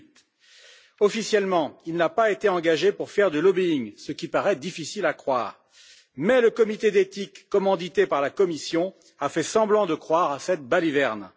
2008. Officiellement, il n'a pas été engagé pour faire du lobbying ce qui paraît difficile à croire, mais le comité d'éthique, commandité par la Commission, a fait semblant de croire à cette baliverne.